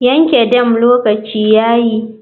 Yanke dam lokaci yayi.